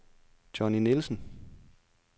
Johnny Nielsen